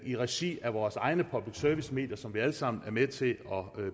i regi af vores egne public service medier som vi alle sammen er med til at